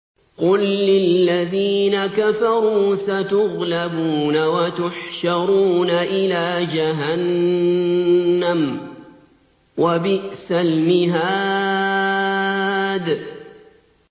قُل لِّلَّذِينَ كَفَرُوا سَتُغْلَبُونَ وَتُحْشَرُونَ إِلَىٰ جَهَنَّمَ ۚ وَبِئْسَ الْمِهَادُ